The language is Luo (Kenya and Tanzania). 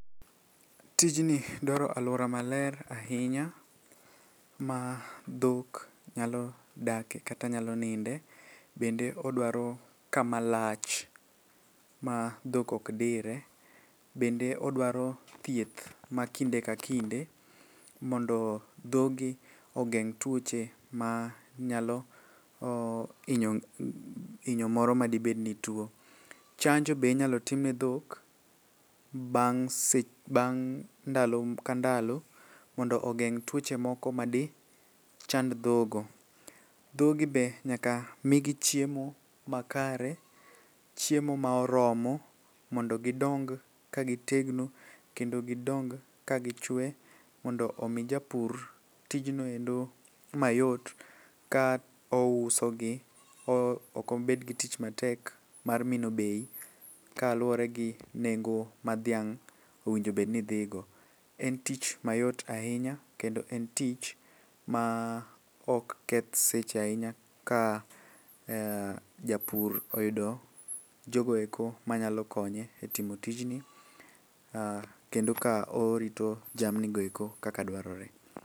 Tijni dwaro alwora maler ahinya ma dhok nyalo dake kata nyalo ninde, bende odwaro kama lach ma dhok ok dire. Bende odwaro thieth ma kinde ka kinde, mondo dhogi ogeng' tuoche ma nyalo inyo moro madibed ni tuo. Chanjo be inyalo tim ne dhok bang' ndalo ka ndalo, mondo ogeng' tuoche moko ma di chand dhogo. Dhogi be nyaka migi chiemo ma kare, chiemo ma oromo, mondo gidong ka gitegno kendo gidong ka gichwe. Mondo omi japur tijnoendo mayot ka ouso gi, okobed gi tich matek mar mino bei kaluwore gi nengo ma dhiang' onedgobedni dhigo. En tich mayot ahinya, kendo en tich ma ok keth seche ahinya ka japur oyudo jogoeko manyalo konye e timo tijni. Kendo ka orito jamnigoeko kaka dwarore.